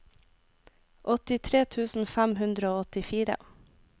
åttitre tusen fem hundre og åttifire